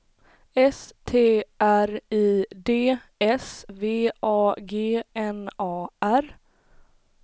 S T R I D S V A G N A R